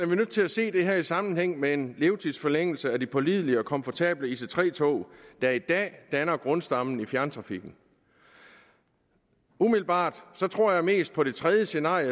vi nødt til at se det her i sammenhæng med en levetidsforlængelse af de pålidelige og komfortable ic3 tog der i dag danner grundstammen i fjerntrafikken umiddelbart tror jeg mest på det tredje scenarie